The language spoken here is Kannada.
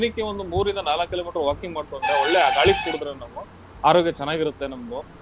ದಿನಕ್ಕೆ ಒಂದು ಮೂರ್ರಿಂದ ನಾಲಕ್ ಕಿಲೋಮೀಟರ್ walking ಮಾಡ್ಕೊಂತ ಒಳ್ಳೆ ಆ ಗಾಳಿ ಕುಡ್ದ್ರೆ ನಾವು ಆರೋಗ್ಯ ಚೆನಾಗಿರತ್ತೆ ನಮ್ದು.